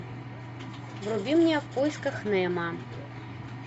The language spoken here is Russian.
вруби мне в поисках немо